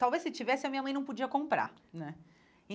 Talvez, se tivesse, a minha mãe não podia comprar, né?